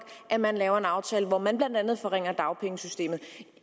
at man laver en aftale hvor man blandt andet forringer dagpengesystemet